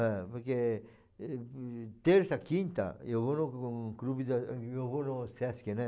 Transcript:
É, porque terça, quinta, eu vou no no clube da eu vou no Sesc, né?